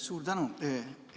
Suur tänu!